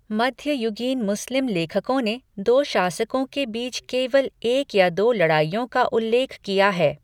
मध्ययुगीन मुस्लिम लेखकों ने दो शासकों के बीच केवल एक या दो लड़ाइयों का उल्लेख किया है।